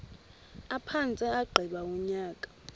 aphantse agqiba unyaka